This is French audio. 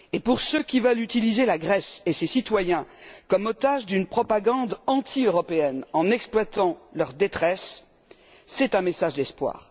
Pour ceux, qui veulent utiliser la Grèce et ses citoyens comme otages d'une propagande anti européenne en exploitant leur détresse, c'est un message d'espoir.